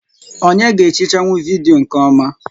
Onyé ga-ehichanwu vidiyo nkè ọma?